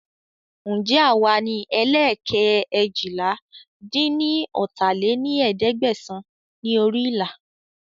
Ǹjẹ́ àwa ní ẹ́leẹ́ẹ́kẹ́ eéjìlá-dín-ní-ọ́ta lé ní ẹ̀ẹ́dẹ́gbẹ́sán ni orí ìlà